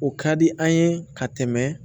O ka di an ye ka tɛmɛ